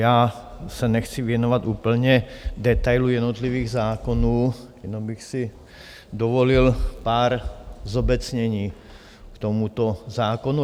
Já se nechci věnovat úplně detailům jednotlivých zákonů, jenom bych si dovolil pár zobecnění k tomuto zákonu.